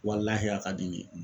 Walahi a ka di n ye